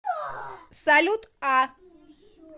салют а